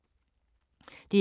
DR K